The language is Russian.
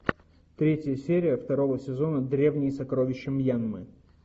третья серия второго сезона древние сокровища мьянмы